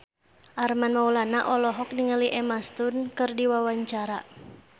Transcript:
Armand Maulana olohok ningali Emma Stone keur diwawancara